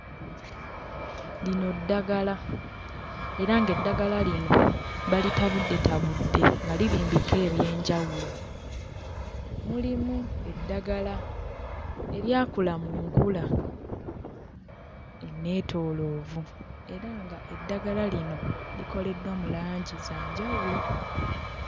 Lino ddagala era ng'eddagala lino balitabuddetabudde nga liri mbika eby'enjawulo mulimu eddagala eryakula mu nkula eneetooloovu era nga eddagala lino likoleddwa mu langi za njawulo.